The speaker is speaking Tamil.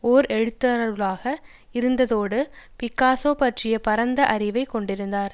ஓர் எழுத்தாளராக இருந்ததோடு பிக்காசோ பற்றிய பரந்த அறிவைக் கொண்டிருந்தார்